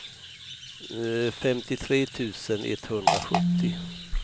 femtiotre tusen etthundrasjuttio